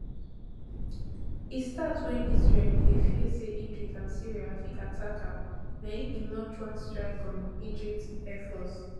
e start wen israel bin dey fear say egypt and syria fit attack am na im e launch one strike on egypt air force